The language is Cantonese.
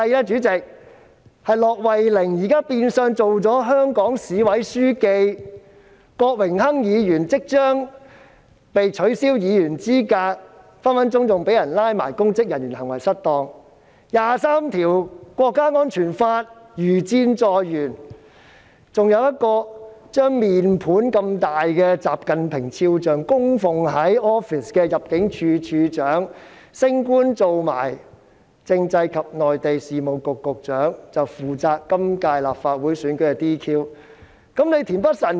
主席，現時駱惠寧變相任職香港市委書記；郭榮鏗議員即將被取消議員資格，更隨時會被控以公職人員行為失當罪；第二十三條國家安全法如箭在弦；還有一位把如面盆般大的習近平肖像供奉在辦公室的前入境事務處處長，現已升官成為政制及內地事務局局長，將負責今年立法會選舉的 "DQ" 事宜。